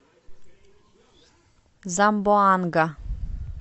замбоанга